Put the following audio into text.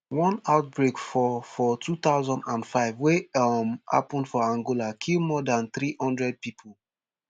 one outbreak for for two thousand and five wey um happun for angola kill more dan three hundred pipo